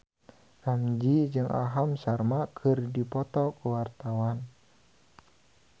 Ramzy jeung Aham Sharma keur dipoto ku wartawan